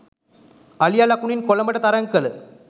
අලියා ලකුණින් කොළඹට තරග කළ